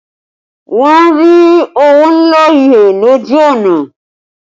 Wọn rí owó ńlá he lójú ọ̀nà